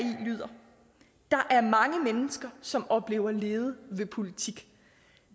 lyder der er mange mennesker som oplever lede ved politik